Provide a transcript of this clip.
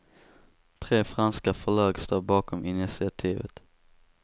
Tre franska förlag står bakom initiativet.